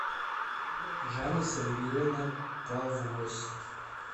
жанна сергеевна павлось